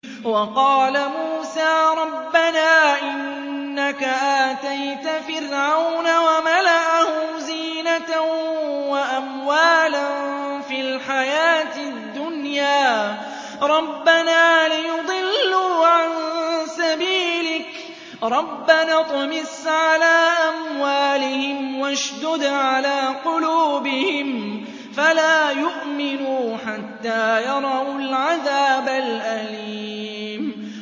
وَقَالَ مُوسَىٰ رَبَّنَا إِنَّكَ آتَيْتَ فِرْعَوْنَ وَمَلَأَهُ زِينَةً وَأَمْوَالًا فِي الْحَيَاةِ الدُّنْيَا رَبَّنَا لِيُضِلُّوا عَن سَبِيلِكَ ۖ رَبَّنَا اطْمِسْ عَلَىٰ أَمْوَالِهِمْ وَاشْدُدْ عَلَىٰ قُلُوبِهِمْ فَلَا يُؤْمِنُوا حَتَّىٰ يَرَوُا الْعَذَابَ الْأَلِيمَ